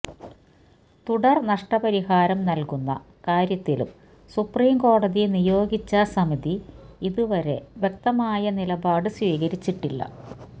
തുടര് നഷ്ടപരിഹാരം നല്കുന്ന കാര്യത്തിലും സുപ്രീം കോടതി നിയോഗിച്ച സമിതി ഇതുവരെ വ്യക്തമായ നിലപാട് സ്വീകരിച്ചിട്ടില്ല